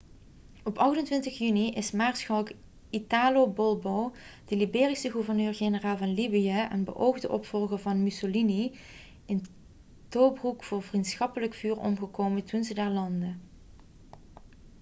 op 28 juni is maarschalk italo balbo de libische gouverneur-generaal van libië en beoogde opvolger van mussolini in tobroek door vriendschappelijk vuur omgekomen toen ze daar landden